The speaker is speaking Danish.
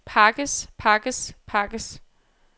pakkes pakkes pakkes